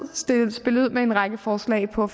spillet ud med en række forslag for